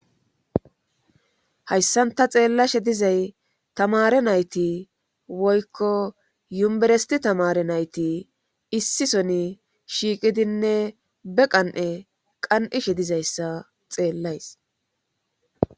Hayssanta xeellashe dizay tamare nayti woykko yumberesti tamare nayti issi soni shiiqidinne be qan:e qan'ishe dizayssa xeellays.